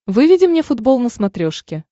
выведи мне футбол на смотрешке